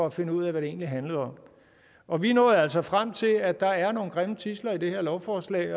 at finde ud af hvad det egentlig handler om vi nåede altså frem til at der er nogle grimme tidsler i det her lovforslag